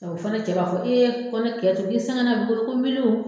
A o fana cɛ b'a fɔ ko ne miliyɔn